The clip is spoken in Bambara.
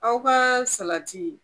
Aw ka salati